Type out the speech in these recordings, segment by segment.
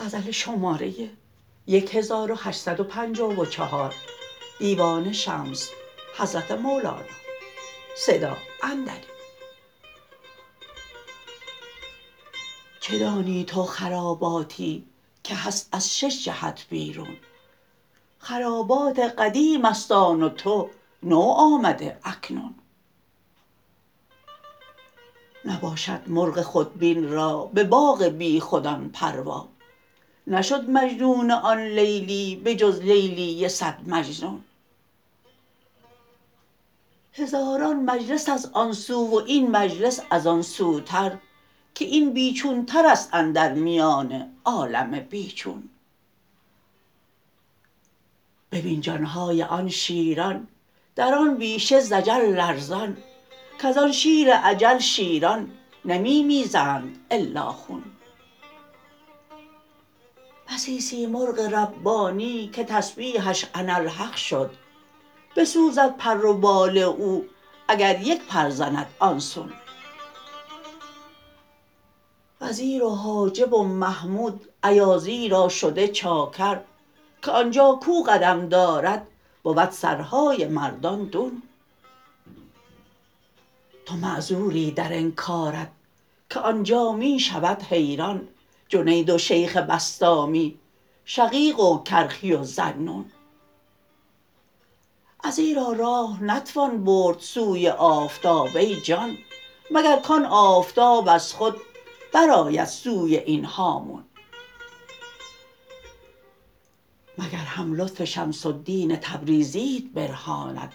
چه دانی تو خراباتی که هست از شش جهت بیرون خرابات قدیم است آن و تو نو آمده اکنون نباشد مرغ خودبین را به باغ بیخودان پروا نشد مجنون آن لیلی به جز لیلی صد مجنون هزاران مجلس است آن سو و این مجلس از آن سوتر که این بی چونتر است اندر میان عالم بی چون ببین جان های آن شیران در آن بیشه ز اجل لرزان کز آن شیر اجل شیران نمی میزند الا خون بسی سیمرغ ربانی که تسبیحش اناالحق شد بسوزد پر و بال او اگر یک پر زند آن سون وزیر و حاجب و محمود ایازی را شده چاکر که آن جا کو قدم دارد بود سرهای مردان دون تو معذوری در انکارت که آن جا می شود حیران جنید و شیخ بسطامی شقیق و کرخی و ذالنون ازیرا راه نتوان برد سوی آفتاب ای جان مگر کان آفتاب از خود برآید سوی این هامون مگر هم لطف شمس الدین تبریزیت برهاند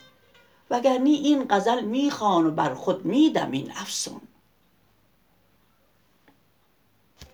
وگر نی این غزل می خوان و بر خود می دم این افسون